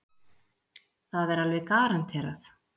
Það er alveg garanterað.